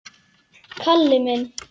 Kalli minn!